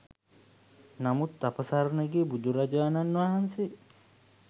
නමුත් අප සරණ ගිය බුදුරජාණන් වහන්සේ